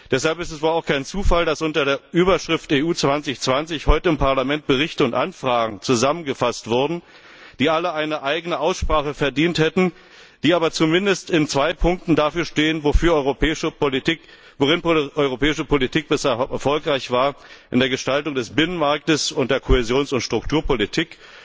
Deshalb ist es wohl auch kein Zufall, dass unter der Überschrift EU 2020 heute im Parlament Berichte und Anfragen zusammengefasst wurden, die alle eine eigene Aussprache verdient hätten, die aber zumindest in zwei Punkten dafür stehen, worin europäische Politik bisher erfolgreich war in der Gestaltung des Binnenmarktes, in der Kohäsions und Strukturpolitik.